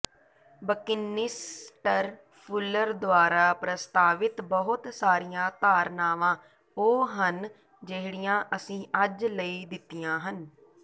Buckminster Fuller ਦੁਆਰਾ ਪ੍ਰਸਤਾਵਿਤ ਬਹੁਤ ਸਾਰੀਆਂ ਧਾਰਨਾਵਾਂ ਉਹ ਹਨ ਜਿਹੜੀਆਂ ਅਸੀਂ ਅੱਜ ਲਈ ਦਿੱਤੀਆਂ ਹਨ